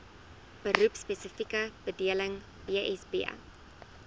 beroepspesifieke bedeling bsb